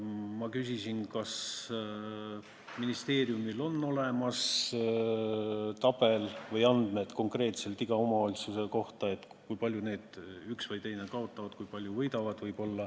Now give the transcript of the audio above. Ma küsisin, kas ministeeriumil on olemas tabel või andmed konkreetselt iga omavalitsuse kohta, kui palju üks või teine kaotab ja kui palju võib-olla võidab.